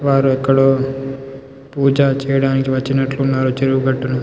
వాళ్ళు అక్క్కడ పూజ చేయడానికి వచ్చినటు ఉన్నారు చెరువు గట్టున --.